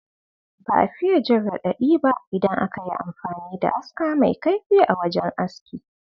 Ba a fiya jin radadi ba idan aka yi amfani da aska mai kaifi a wajen aski.